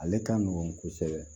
Ale ka nɔgɔn kosɛbɛ